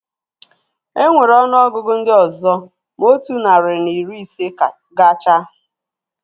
Enwere ọnụ ọgụgụ ndị ọzọ ma otu narị na iri ise gachaa